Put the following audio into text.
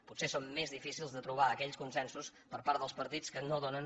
potser són més difícils de trobar aquells consensos per part dels partits que no donen